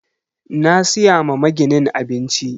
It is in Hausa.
Na siya ma maginin abinci.